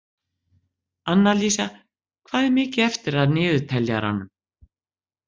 Annalísa, hvað er mikið eftir af niðurteljaranum?